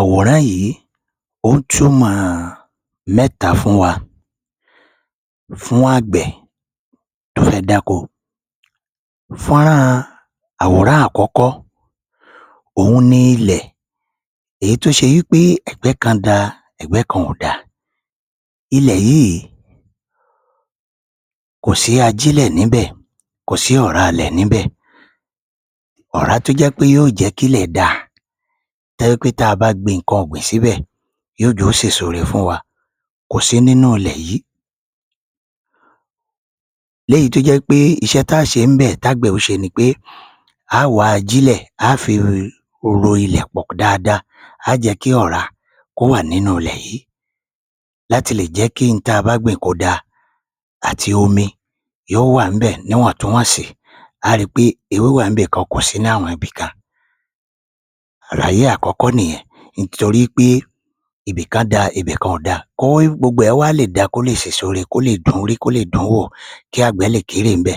Àwòrán yìí ó ń túmọ̀ mẹ́ta fún àgbẹ̀ tó fẹ́ dáko. Fọ́nrán àkọ́kọ́ òhun ni ilẹ̀ tó ṣe wí pé ẹgbẹ́ kan dáa ẹgbẹ́ kan ò dáa, ilẹ̀ yìí kò sí ajílẹ̀ níbẹ̀, kò sí ọ̀rá ilẹ̀ níbẹ̀, ọ̀rá tó jẹ́ wí pé yóò jẹ́ kí ilẹ̀ dáa tó jẹ́ wí pé ta bá gbin nǹkan ọ̀gbìn síbẹ̀ yóò jẹ́ kí ó sèso ire fún wa kò sí nínú ilẹ̀ yìí, léyìí tó jẹ́ wí pé iṣẹ́ ta ó ṣe ni pé tágbẹ̀ yóò ṣe ni pé a óò wá ajílẹ̀ ro ilẹ̀ pọ̀ dáadáa a a má jẹ́ kí ọ̀rá wọnú ilẹ̀ dáadáa láti lè jẹ́ kí hun ta bá gbẹ̀ kó dáa àti omi yóò wá à níbẹ̀ níwọ̀n tún wọ̀nsì, a óò ri wí pé ewé wá à ní àwọn ibìkan kò sí nínú àwọn ibìkan, àlàyé àkọ́kọ́ nìyẹn torí í pé ibìkan dáa ibìkan ò dáa kí gbogbo ẹ wá lè sèso ire kí gbogbo rẹ̀ kó lè dùn - ún rí, kó lè dùn-wó kí àgbẹ̀ lè kérè níbẹ̀